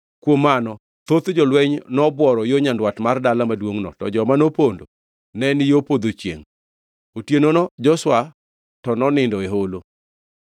Kuom mano thoth jolweny nobworo yo nyandwat mar dala maduongʼno, to joma nopondo ne ni yo podho chiengʼ. Otienono Joshua to nonindo e holo.